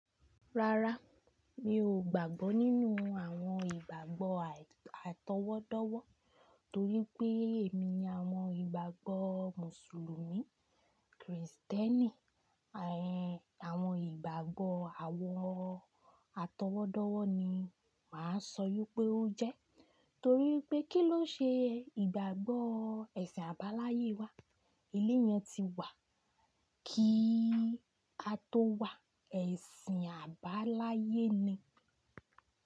Rárá, mi ò gbàgbọ́ nínú àwọn ìgbàgbọ́ àtọwọ́dọ́wọ́ torí pé èmini àwọn ìgbàgbọ́ Mùsùlùmí, Krìstẹ́nì, ẹ̀ àwọn ìgbàgbọ́ àwọn àtọwọ́dọ́wọ́ ni màá sọ wípé ó jẹ́. Torí pé kí ló ṣe ìgbàgbọ́ ẹ̀sìn àbáláyé wa? Ilé yẹn ti wà kí a tó wà, ẹ̀sìn àbáláyé ni.